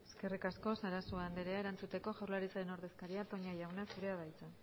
eskerrik asko sarasua anderea erantzuteko jaurlaritzaren ordezkaria toña jauna zurea da hitza